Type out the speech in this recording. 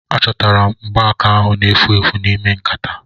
Achọtara m mgbaaka ahu na-efu efu n'ime nkataa